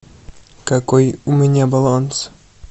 какой у меня баланс